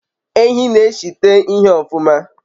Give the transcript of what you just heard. Ehi n'eshite ihe ofuma